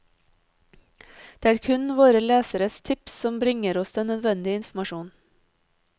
Det er kun våre leseres tips som bringer oss den nødvendige informasjonen.